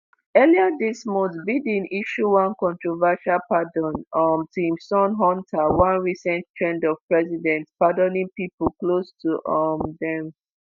earlier dis month biden issue one controversial pardon um to im son hunter one recent trend of presidents pardoning pipo close to um dem.